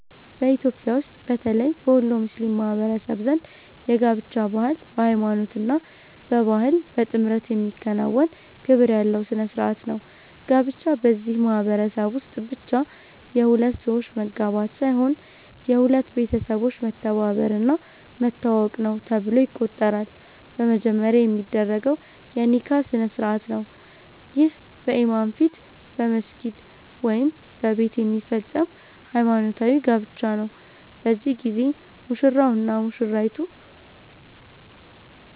በኢትዮጵያ ውስጥ በተለይ በወሎ ሙስሊም ማህበረሰብ ዘንድ የጋብቻ ባህል በሃይማኖት እና በባህል በጥምረት የሚከናወን ክብር ያለው ሥነ ሥርዓት ነው። ጋብቻ በዚህ ማህበረሰብ ውስጥ ብቻ የሁለት ሰዎች መጋባት ሳይሆን የሁለት ቤተሰቦች መተባበር እና መተዋወቅ ነው ተብሎ ይቆጠራል። በመጀመሪያ የሚደረገው የ“ኒካህ” ስነ-ሥርዓት ነው። ይህ በኢማም ፊት በመስጊድ ወይም በቤት የሚፈጸም ሃይማኖታዊ ጋብቻ ነው። በዚህ ጊዜ ሙሽራው እና ሙሽሪቱ